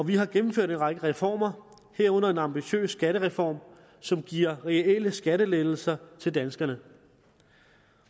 vi har gennemført en række reformer herunder en ambitiøs skattereform som giver reelle skattelettelser til danskerne